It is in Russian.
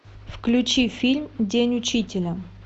включи фильм день учителя